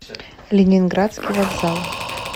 ленинградский вокзал